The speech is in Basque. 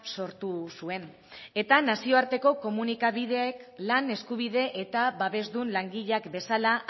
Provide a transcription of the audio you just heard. sortu zuen eta nazioarteko komunikabideek lan eskubide eta babesdun langileak bezala